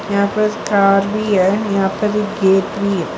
यहां पास कार भी है यहां पर गेट भी है।